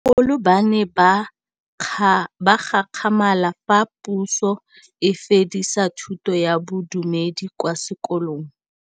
Bagolo ba ne ba gakgamala fa Pusô e fedisa thutô ya Bodumedi kwa dikolong.